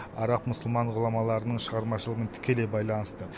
араб мұсылман ғұламаларының шығармашылығымен тікелей байланысты